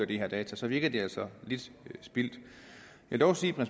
de her data så virker det altså lidt spildt jeg vil dog sige at